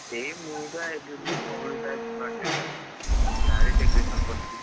ଏଇ ମୁଁ ବା ଏବେ ମୋ ଭଉଣୀ ର ଆଜି birthday ନୁହଁ କି! ତା’ରି decoration କରୁଛି।